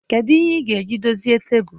Kedu ihe ị ga-eji dozie tebụl?